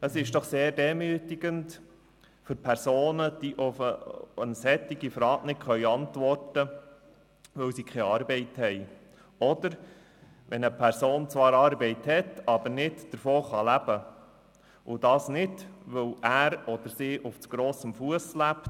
Es ist doch sehr demütigend für Personen, die auf eine solche Frage nicht antworten können, weil sie keine Arbeit haben oder wenn eine Person zwar Arbeit hat, aber nicht davon leben kann und das nicht, weil er oder sie auf zu grossem Fuss lebt.